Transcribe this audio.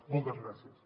moltes gràcies